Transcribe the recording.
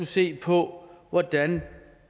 se på hvordan